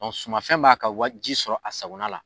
Wa sumafɛn b'a ka wa ji sɔrɔ a sagona la!